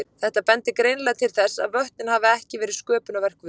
Þetta bendir greinilega til þess að vötnin hafi ekki verið sköpunarverk Guðs.